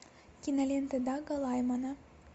кинолента дага лаймана